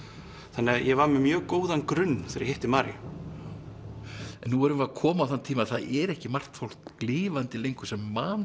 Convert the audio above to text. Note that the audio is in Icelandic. þannig að ég var með mjög góðan grunn þegar ég hitti Mariu en nú erum við að koma á þann tíma að það er ekki margt fólk lifandi lengur sem man